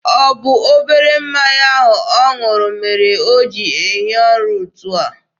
Ọ bụ obere mmanya ahụ ọ ṅụrụ mere o ji ehi ụra etu a?